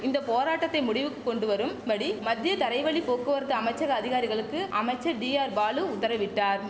இந்த போராட்டத்தை முடிவுக்கு கொண்டு வரும்படி மத்திய தரைவழி போக்குவரத்து அமைச்சக அதிகாரிகளுக்கு அமைச்சர் டிஆர்பாலு உத்தரவிட்டார்